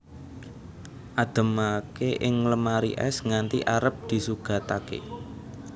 Ademake ing lemari es nganti arep disugatake